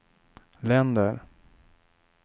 länder